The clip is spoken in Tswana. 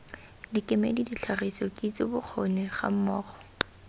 dikemedi ditlhagiso kitso bokgoni gammogo